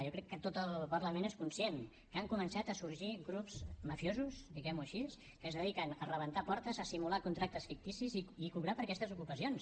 jo crec que tot el parlament és conscient que han començat a sorgir grups mafiosos diguem ho així que es dediquen a rebentar portes a simular contractes ficticis i cobrar per aquestes ocupacions